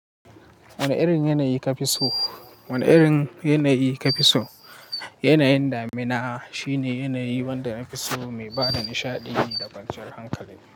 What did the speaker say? Wane irin yanayi ka fi so? Wane irin yanayi ka fi so? Yanayin damina shine yanayin wanda in ka so, mai ba da nishaɗi da kwanciyar hankali.